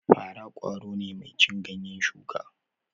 Fara ƙwaro ne mai cin ganyen shuka